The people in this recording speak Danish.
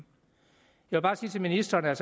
jeg vil bare sige til ministeren at